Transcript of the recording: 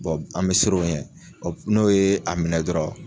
an bɛ siran o ɲɛ, n'o ye a minɛ dɔrɔn,